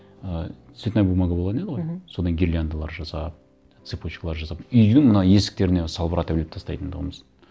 ы цветная бумага болған еді ғой мхм содан гирляндалар жасап цепочкалар жасап үйдің мына есіктеріне салбыратып іліп тастайтын тұғынбыз